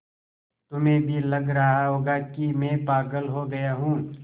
तुम्हें भी लग रहा होगा कि मैं पागल हो गया हूँ